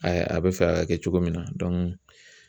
a bɛ fɛ ka kɛ cogo min na